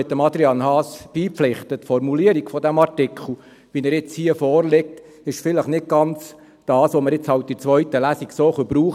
Ich pflichte Adrian Haas bei: Die Formulierung dieses Artikels, wie er jetzt hier vorliegt, ist vielleicht nicht ganz das, was wir jetzt in der zweiten Lesung brauchen können.